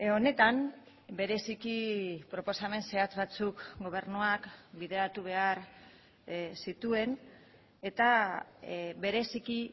honetan bereziki proposamen zehatz batzuk gobernuak bideratu behar zituen eta bereziki